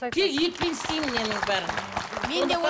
тек еттен істеймін ненің бәрін